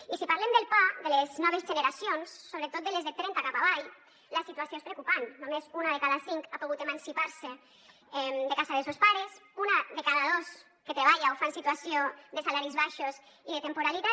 i si parlem del pa de les noves generacions sobretot de les de trenta cap avall la situació és preocupant només una de cada cinc ha pogut emancipar se de casa de sos pares una de cada dos que treballa ho fa en situació de salaris baixos i de temporalitat